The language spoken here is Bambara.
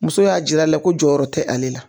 Muso y'a jira a la ko jɔyɔrɔ tɛ ale la